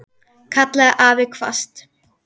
kallaði afi hvasst.